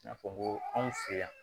I n'a fɔ ko anw fɛ yan